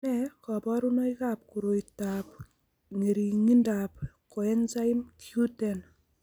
Nee kabarunoikab koroitoab ng'ering'indoab Coenzyme Q10 ?